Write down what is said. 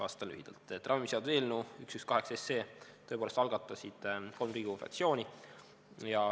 " Vastan lühidalt, et ravimiseaduse eelnõu 118 tõepoolest algatasid kolm Riigikogu fraktsiooni.